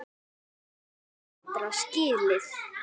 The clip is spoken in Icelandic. Við eigum betra skilið.